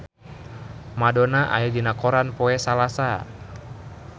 Madonna aya dina koran poe Salasa